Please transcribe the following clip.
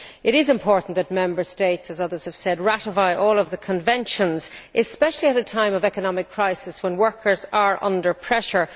It is important that Member States, as others have said, ratify all of the conventions, especially at a time of economic crisis when workers are under pressure.